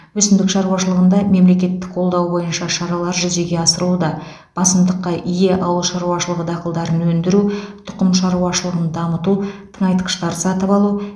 өсімдік шаруашылығында мемлекеттік қолдау бойынша шаралар жүзеге асырылуда басымдыққа ие ауыл шаруашылығы дақылдарын өндіру тұқым шаруашылығыны дамыту тыңайтқыштар сатып алу